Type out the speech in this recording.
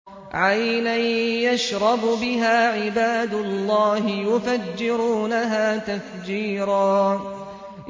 عَيْنًا يَشْرَبُ بِهَا عِبَادُ اللَّهِ يُفَجِّرُونَهَا تَفْجِيرًا